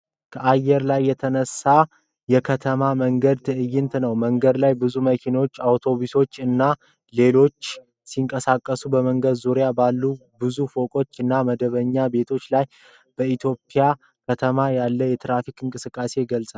ከአየር ላይ የተነሳ የከተማ መንገድ ትዕይንት ነው። መንገድ ላይ ብዙ መኪኖች፣ አውቶቡሶች እና ሌሎች ተሽከርካሪዎች ሲንቀሳቀሱ በመንገዱ ዙሪያ ባለ ብዙ ፎቅ እና መደበኛ ቤቶች አሉ። በኢትዮጵያ ከተማ ያለውን የትራፊክ እንቅስቃሴ ይገልጻል።